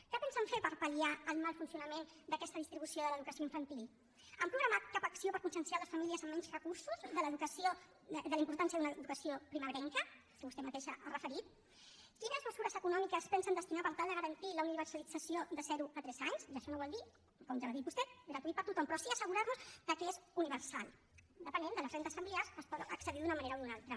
què pensen fer per pal·liar el mal funcionament d’aquesta distribució de l’educació infantil han programat cap acció per conscienciar les famílies amb menys recursos de la importància d’una educació primerenca que vostè mateixa ha referit quines mesures econòmiques pensen destinar per tal de garantir la universalització de zero a tres anys i això no vol dir com ja ho ha dit vostè gratuït per a tothom però sí assegurar nos que és universal depenent de les rendes familiars s’hi pot accedir d’una manera o d’una altra